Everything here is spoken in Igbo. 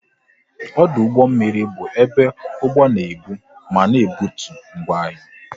Ọdụ ụgbọ mmiri bụ ebe ụgbọ na ebu ma na-ebutu ngwa ahịa